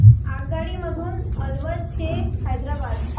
आगगाडी मधून अलवार ते हैदराबाद